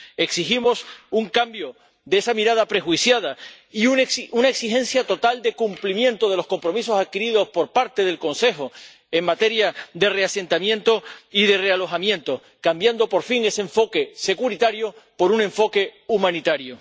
Exigimos un cambio de esa mirada prejuiciada y una exigencia total de cumplimiento de los compromisos adquiridos por parte del Consejo en materia de reasentamiento y de realojamiento, cambiando, por fin, ese enfoque securitario por un enfoque humanitario.